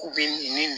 K'u bɛ ni